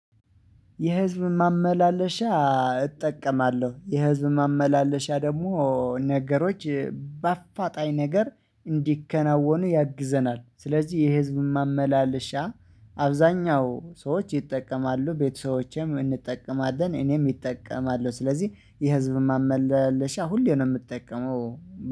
የህዝብ ማመላለሻ እጠቀማለሁ። የህዝብ ማመላለሻ ደግሞ ነገሮች በአፋጣኝ ነገር እንዲከናወኑ ያግዘናል፤ ስለዚህ የህዝብን ማመላለሻ አብዛኛው ሰዎች ይጠቀማሉ፣ ቤተሰቦቼም እንጠቀማለን፣ እኔም እጠቀማለሁ፤ ስለዚህ የህዝብን ማመለሻ ሁሌ ነው የምትጠቀመው።